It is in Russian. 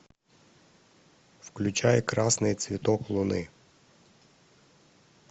включай красный цветок луны